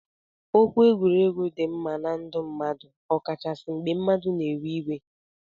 Okwu egwuregwu di mma na ndu mmadu ọkachasi mgbe mmadu na ewe iwe.